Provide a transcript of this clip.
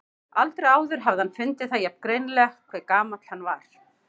Aldrei áður hafði hann fundið það jafn greinilega hve gamall hann var.